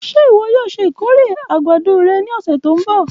Ṣe iwọ yoo ṣe ikore agbado rẹ ni ọsẹ ti n bọ?